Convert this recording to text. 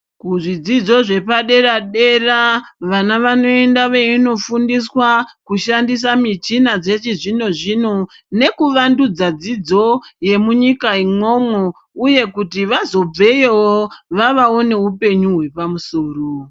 Kuzvidzidzo zvepadera dera vana vanoenda veindofundiswa kushandisa michina yechizvino zvino nekuvandudza dzidzo yemunyika umwomwo uye kuti vazobveyowo vava nehupenyu hwapamusoro.